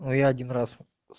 но я один раз с